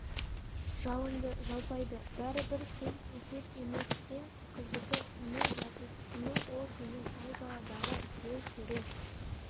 жалынды-жалпайды бәрібір селт етер емес сен қыздікі не жатыс кімің ол сенің айдаладағы біреу көрер